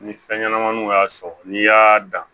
Ni fɛn ɲɛnamaninw y'a sɔrɔ n'i y'a dan